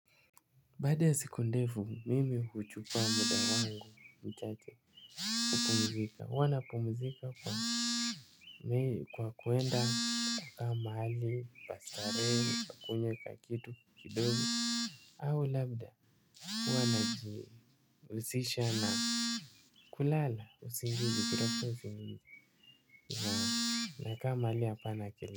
Baada ya siku ndefu mimi kuchukua muda wangu mchache kupumzika huanapumzika mi kwa kuenda kaa mahali pa starehe nakunywa kakitu kidogo. Au labda hua najihusisha na kulala usingizi kutafuta usingizi na nakaa mahali hapana kelele.